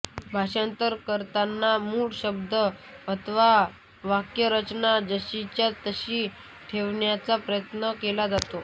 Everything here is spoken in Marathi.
भाषांतर करताना मूळ शब्द अथवा वाक्यरचना जशीच्या तशी ठेवण्याचा प्रयत्न केला जातो